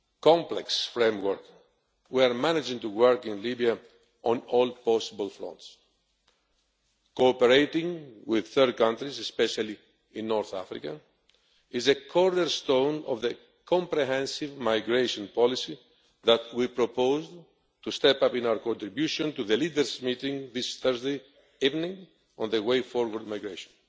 complex framework, we are managing to work in Libya on all possible fronts. Cooperating with third countries, especially in North Africa, is a cornerstone of the comprehensive migration policy that we propose to step up in our contribution to the Leaders Meeting this Thursday evening on the way forward in migration.